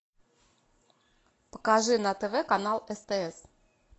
покажи на тв канал стс